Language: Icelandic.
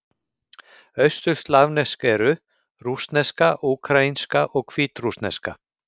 Austurslavnesk eru: rússneska, úkraínska og hvítrússneska.